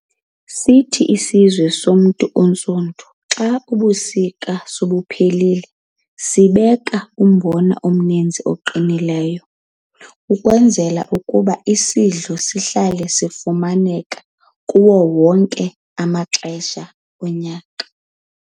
Sithi isizwe somzi ontsundu ka Ubusika sobuphelile bubeke umbona omnizinzi oqinileyo ukwenzela ukuba isidlo sabo sihlale sifumaneka kuzo zonke amaxesha onyaka.